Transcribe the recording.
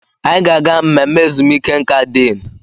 Anyị ga-aga mmemme ezumike nka diinu.